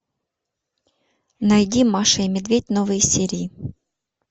найди маша и медведь новые серии